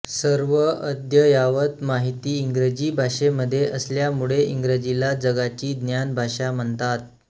सर्व अद्ययावत माहिती इंग्रजी भाषेमध्ये असल्यामुळे इंग्रजीला जगाची ज्ञानभाषा म्हणतात